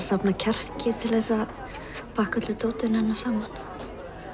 safna kjarki til að pakka öllu dótinu hennar saman